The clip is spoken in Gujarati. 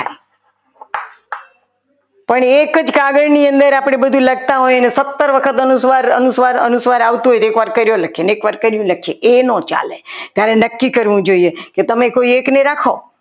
પણ એક જ કાગળ ની અંદર આપણે બધું લખતા હોય અને સત્તર વખત અનુસ્વાર અનુસ્વાર અનુસ્વાર આવતું હોય તો એકવાર કર્યો લખીએ અને એકવાર કરી લખીએ એ ન ચાલે ત્યારે નક્કી કરવું જોઈએ કે તમે કોઈ એકને રાખો.